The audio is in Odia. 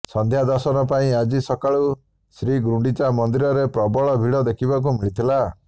ସଂଧ୍ୟା ଦର୍ଶନ ପାଇଁ ଆଜି ସକାଳୁ ଶ୍ରୀଗୁଣ୍ଡିଚା ମନ୍ଦିରରେ ପ୍ରବଳ ଭିଡ଼ ଦେଖିବାକୁ ମିଳିଥିଲା